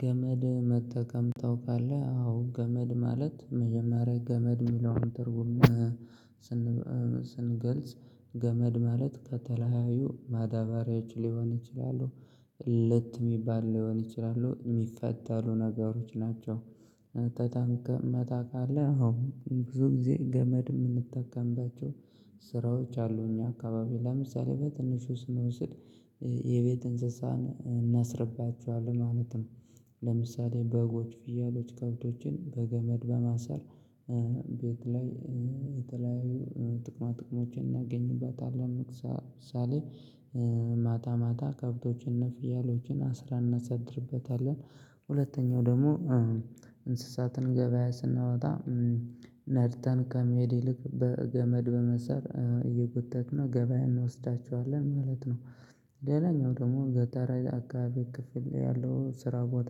ገመድ መጠቀም ታውቃለህ? አዎ! ገመድ ማለት መጀመሪያ ገመድ የሚለውን ትርጉም ስን ስንገልጽ ገመድ ማለት ከተለያዩ ማዳበሪያዎች ሊሆን ይችላሉ፣ ልጥ ሚባል ሊሆን ይችላሉ ሚፈታሉ ነገሮች ናቸው። ታንከመ ታቃለህ ኦዎ! ብዙ ጊዜ ገመድ የምንጠቀምባቸው ስራዎች አሉ እኛ አካባቢ ለምሳሌ በትንሹ ስንወስድ የቤት እንስሳን እናስርባቸዋለን ማለት ነው። ለምሳሌ በጎች፣ ፍየሎች፣ ከብቶችን በገመድ በማሰር ቤት ላይ የተለያዩ ጥቅማ ጥቅሞችን እናገኝበታለን ለምሳ ሳሌ ማታ ማታ ከብቶችንና ፍያሎችን አስረን እናሰድርበታለን፣ ሁለተኛው ደግሞ እንስሳትን ገበያ ስናወጣ ነድተን ከመሄድ ይልቅ በገመድ በመስራት እየጎተተነ ገበያ እንወስዳቸዋለን ማለት ነው። ሌላኛው ደግሞ ገጠር አካባቢ ክፍል ያለው ስራ ቦታ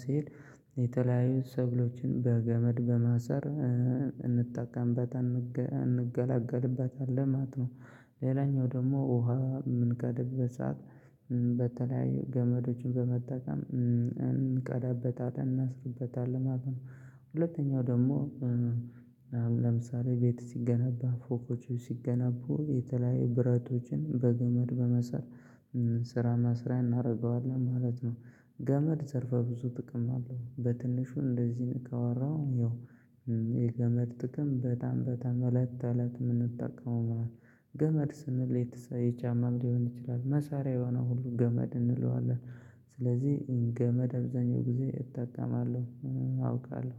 ስሄድ የተለያዩ ሰብሎችን በገመድ በማሰር እ እንጠቀምበት እንገላገልበታለን ማለት ነው፣ ሌላኛው ደግሞ ውሃ የምንቀዳበት ሰዓት በተለያዩ ገመዶችን በመጠቀም እንቀዳበታለን እናስርበታለን ማለት ነው፣ ሁለተኛው ደግሞ ለምሳሌ ቤት ሲገነባ ፎቆች ሲገነቡ የተለያየ ብረቶችን በገመድ በማሰር ስራ መስሪያ እናደርገዋለን ማለት ነው። ገመድ ዘርፈ ብዙ ጥቅም አለው በትንሹ እንደዚህ ካወራው ያው የገመድ ጥቅም በጣም በጣም አለት ተለት የምንጠቀመው ነው። ገመድ ስንል ሌትሰይ ጫማም ሊሆን ይችላል መሳሪያ የሆነው ሁሉ ገመድ እንለዋለን። ስለዚህ ገመድ አብዛኛው ጊዜ እጠቀማለሁ፣ አውቃለሁ